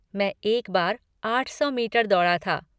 मैं एक बार आठ सौ मीटर दौड़ा था।